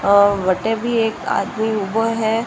वट भी एक आदमी उबो है।